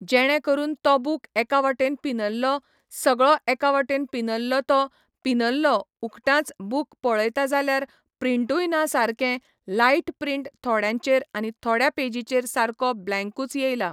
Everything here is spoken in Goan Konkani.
जेणें करून तो बूक एका वाटेन पिनल्लो सगळो एका वाटेन पिनल्लो तो पिनल्लो उगटांच बूक पयळता जाल्यार प्रिंटूय ना सारकें लायट प्रिंट थोड्यांचेर आनी थोड्या पेजीचेर सारको ब्लॅकूंच येयलां